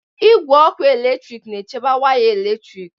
Igwe ọkụ eletrik na-echebe waya eletrik.